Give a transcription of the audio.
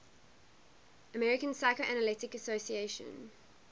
american psychoanalytic association